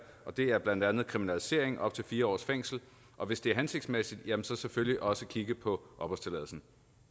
og det er blandt andet kriminalisering op til fire års fængsel og hvis det er hensigtsmæssigt jamen så selvfølgelig også kigge på opholdstilladelsen